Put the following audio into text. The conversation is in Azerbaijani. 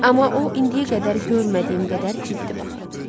Amma o, indiyə qədər görmədiyim qədər ciddi baxırdı.